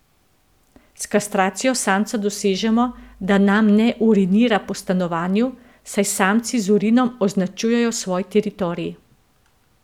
S kastracijo samca dosežemo, da nam ne urinira po stanovanju, saj samci z urinom označujejo svoj teritorij.